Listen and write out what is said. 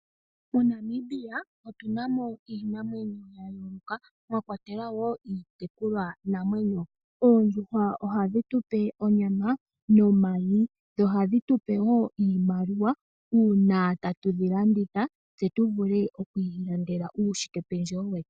MoNamibia otu na mo iinamwenyo ya yooloka, mwakwatelwa wo iitekulwanamwenyo. Oondjuhwa nadho wo ohadhi tupe onyama nomayi. Dho ohadhi tupe wo iimaliwa uuna tatu dhi landitha, tse tu vule wo oku ilandela uushikependjewe.